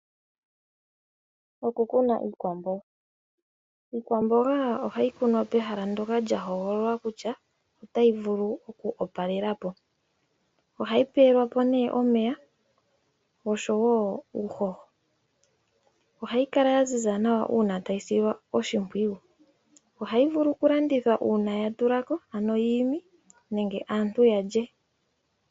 Okukuna iikwamboga. Iikwamboga ohayi kunwa pehala ndoka lya hogololwa kutya otayi vulu okwoopalela po. Ohayi pewelwa po nee omeya oshowo uuhoho . Ohayi kala yaziza nawa uuna tayi silwa oshimpwiyu. Ohayi vulu okulandithwa uuna ya tulako ano yiimi nenge aantu ya lye.